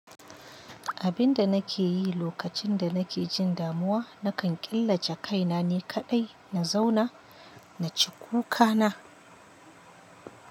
Abinda nake yi lokacin da nake jin damuwa, nakan killace kaina ni kaɗai na zauna, na ci kuka na.